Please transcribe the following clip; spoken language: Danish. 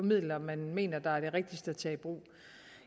midler man mener er de rigtigste at tage i brug